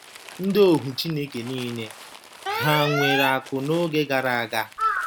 Ndị ohu Chineke nile hà nwere akụ̀ n’oge gara aga?